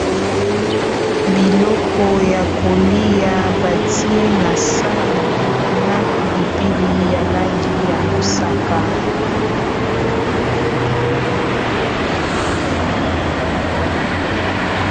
Biloko ya kolia batie na sani na pilipili ya langi ya mosaka.